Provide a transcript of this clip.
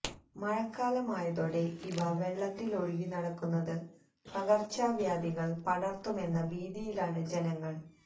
മഴക്കാലമായതോടെ ഇവ വെള്ളത്തില് ഒഴുകി നടക്കുന്നത് പകര്ച്ചവ്യാധികള് പടര്ത്തുമെന്ന ഭീതിയിലാണ് ജനങ്ങള്